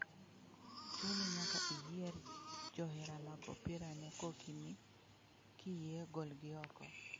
Chuni nyaka inyier johera mag opira ne kok ni, Kiyie, golgi oko.'